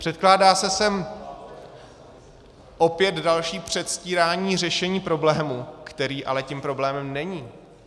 Předkládá se sem opět další předstírání řešení problému, který ale tím problémem není.